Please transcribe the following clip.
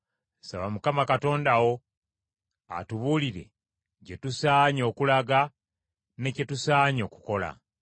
Saba Mukama Katonda wo atubuulire gye tusaanye okulaga ne kye tusaanye okukola.”